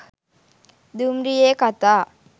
දුම්රියේ කතා